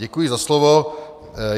Děkuji za slovo.